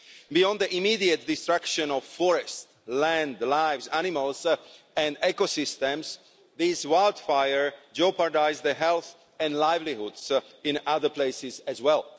Beyond the immediate destruction of forest, land, lives, animals and ecosystems, these wildfires jeopardise health and livelihoods in other places as well.